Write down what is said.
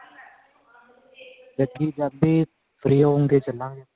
ਜੱਗੀ ਜਦ ਵੀ free ਹੋਵਾਂਗੇ ਚੱਲਾਂਗੇ